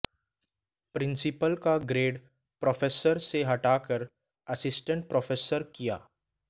principal का grade professor से घटाकर असिस्टेंट प्रोफेसर किया